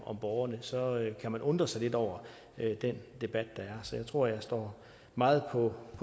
om borgerne så kan man undre sig lidt over den debat der så jeg tror jeg står meget på